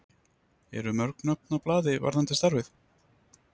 Eru mörg nöfn á blaði varðandi starfið?